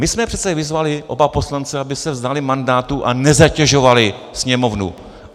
My jsme přece vyzvali oba poslance, aby se vzdali mandátu a nezatěžovali Sněmovnu.